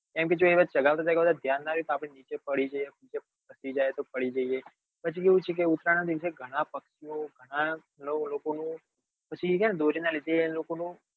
એમ કે ચગાવતી વખતે ધ્યાન નાં રે તો આપડે નીચે પડી જઈએ પગ ખસી જાય તો પડી જઈએ પછી કેવું છે ઘણાં પક્ષી ઓ ઘણાં લોકો નું પછી દોરી ના લીધે એ લોકો નું